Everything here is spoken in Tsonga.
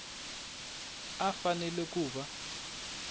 a a fanele ku va